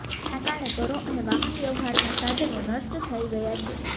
જેના કારણે ઘરો અને વાહનવ્યવહારના સાધનો નષ્ટ થઇ ગયા છે